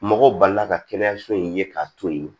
Mɔgɔw balila ka kɛnɛyaso in ye k'a to yen